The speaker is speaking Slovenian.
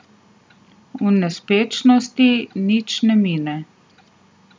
V nespečnosti nič ne mine.